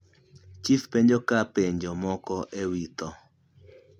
chif penjo ka penjo moko ewi tho